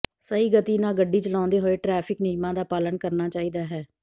ਸਹੀ ਗਤੀ ਨਾਲ ਗੱਡੀ ਚਲਾਉਂਦੇ ਹੋਏ ਟਰੈਫਿਕ ਨਿਯਮਾਂ ਦਾ ਪਾਲਨ ਕਰਨਾ ਚਾਹੀਦਾ ਹੈ